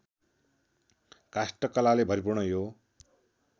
काष्ठकलाले भरिपूर्ण यो